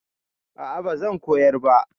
A'a bazan koyar ba